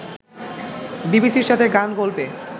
বিবিসির সাথে গান-গল্পে